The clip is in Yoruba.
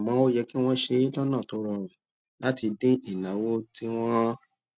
àmó ó yẹ kí wón ṣe é lónà tó rọrùn láti dín ìnáwó tí wón ń